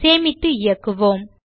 சேமித்து இயக்குவோம்